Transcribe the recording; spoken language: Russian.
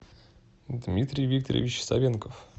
дмитрий викторович савенков